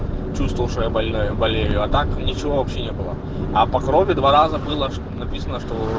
чувствовал что я больной болею а так ничего вообще не было а по крови два раза было написано что